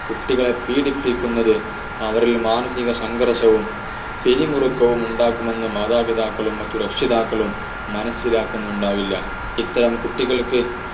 കുട്ടികളെ പീഡിപ്പിക്കുന്നത് അവരിൽ മാനസിക സംഘർഷവും പിരിമുറുക്കവും ഉണ്ടാകും എന്നത് മാതാപിതാക്കളും മറ്റു രക്ഷിതാക്കളും മനസ്സിലാകുന്നുണ്ടാവില്ല ഇത്തരം കുട്ടികൾക്ക്